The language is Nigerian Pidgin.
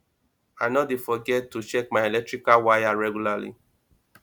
i no dey forget to check my electrical wires regularly